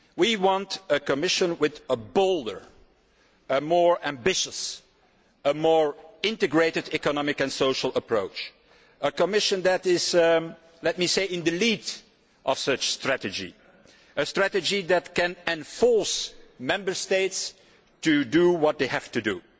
We want a Commission with a bolder, more ambitious and more integrated economic and social approach, a Commission that is at the forefront of such a strategy a strategy that can force Member States to do what they have to do.